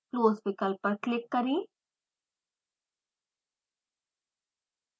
close विकल्प पर click करें